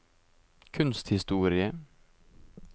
kunsthistoriske